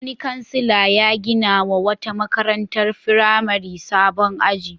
Wani kansila ya ginawa wata makarantar firamare sabon aji.